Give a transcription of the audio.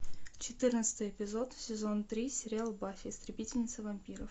четырнадцатый эпизод сезон три сериал баффи истребительница вампиров